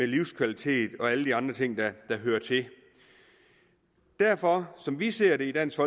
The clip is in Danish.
livskvalitet og alle de andre ting der hører til derfor er som vi ser det i dansk